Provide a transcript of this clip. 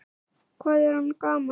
Hvað er hann gamall?